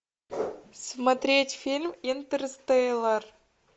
смотреть фильм интерстеллар